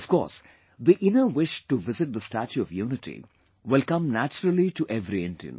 Of course, the inner wish to visit the statue of unity will come naturally to every Indian